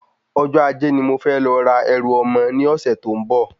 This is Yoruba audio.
Ọjọ́ Ajé ni mo fẹ́ lọ ra ẹrù ọmọ ní ọ̀sẹ̀ tó ń bò